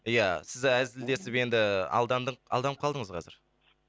ия сіз әзілдесіп енді алданып қалдыңыз қазір